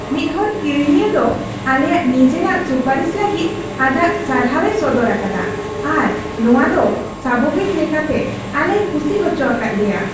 ᱢᱤᱫᱦᱚᱲ ᱠᱤᱨᱤᱧᱤᱭᱟᱹ ᱫᱚ ᱟᱞᱮᱭᱟᱜ ᱱᱤᱡᱮᱨᱟᱜ ᱥᱩᱯᱟᱨᱤᱥ ᱞᱟᱹᱜᱤᱫ ᱟᱡᱟᱜ ᱥᱟᱨᱦᱟᱣᱮ ᱥᱚᱫᱚᱨ ᱟᱠᱟᱫᱟ ᱟᱨ ᱱᱚᱶᱟ ᱫᱚ ᱥᱟᱵᱷᱟᱵᱤᱠ ᱞᱮᱠᱟᱛᱮ ᱟᱞᱮᱭ ᱠᱩᱥᱤ ᱦᱚᱪᱚ ᱟᱠᱟᱫ ᱞᱮᱭᱟ ᱾